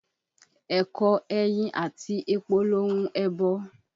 Ẹ̀kọ, ẹyin àti epo lohun ẹbọ.